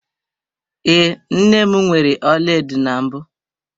Ee, nne m nwere ọlaedo na mbụ.